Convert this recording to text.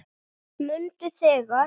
Mundu þegar